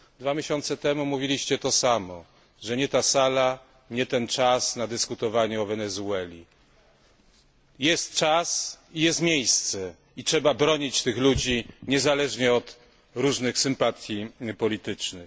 Dwa miesiące temu mówiliście to samo, że nie ta sala, nie ten czas na dyskutowanie o Wenezueli. Jest czas i jest miejsce, i trzeba bronić tych ludzi niezależnie od różnych sympatii politycznych.